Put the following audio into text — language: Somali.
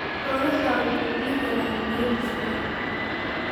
Xoolahaagu ma helaan biyo ku filan?